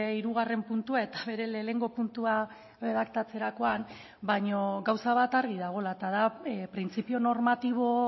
hirugarren puntua eta bere lehenengo puntua erredaktatzerakoan baina gauza bat argi dagoela eta da printzipio normatibo